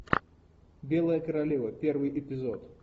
белая королева первый эпизод